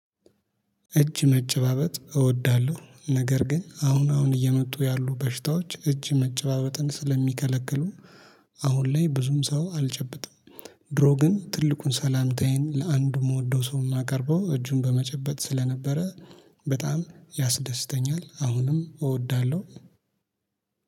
እጅ መጨባበጥ እወዳለሁ ነገር ግን አሁን አሁን እየመጡ ያሉ በሽታዎች እጅ መጨባበጥን ስለሚከለክሉ። አሁን ላይ ብዙም ሰው አልጨብጥም። ድሮ ግን ትልቁን ሰላምታዬን ለአንዱ የምወደው ሰው የማቀርበው እጁን በመጨበጥ ስለነበረ። በጣም ያስደስተኛል አሁንም እወዳለሁ።